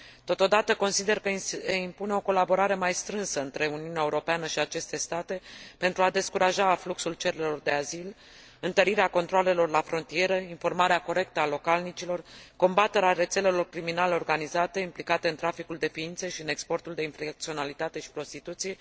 Totodată, consider că se impune o colaborare mai strânsă între Uniunea Europeană și aceste state, pentru a descuraja afluxul cererilor de azil, întărirea controalelor la frontieră, informarea corectă a localnicilor, combaterea rețelelor criminale organizate implicate în traficul de ființe și în exportul de infracționalitate și prostituție.